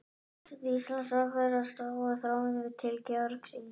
Forseti Íslands ákveður að slá á þráðinn til Georgs yngri.